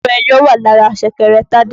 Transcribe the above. Owó ẹyọ wà lára ṣẹ̀kẹ̀rẹ̀ Tádé